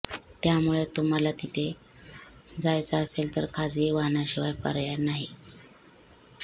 त्यामुळे तुम्हाला तिथे जायचं असेल तर खासगी वाहनाशिवाय पर्याय नाही